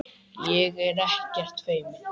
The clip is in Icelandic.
Ég er ekkert feimin.